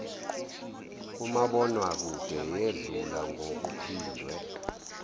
kumabonwakude yedlula ngokuphindiwe